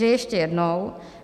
Takže ještě jednou.